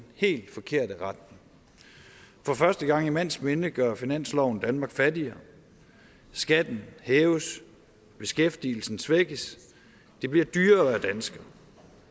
helt forkerte retning for første gang i mands minde gør finansloven danmark fattigere skatten hæves beskæftigelsen svækkes det bliver dyrere at være dansker